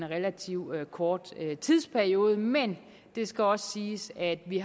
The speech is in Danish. relativt kort tidsperiode men det skal også siges at vi